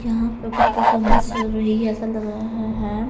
यहां पर कुछ परफॉर्मेंस चल रही है ऐसा लग रहा है.